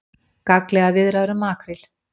Gagnlegar viðræður um makríl